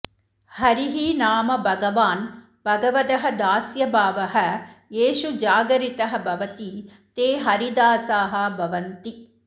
हरिः नाम भगवान् भगवदः दास्य भावः येषु जागरितः भवति ते हरिदासाः भवन्ति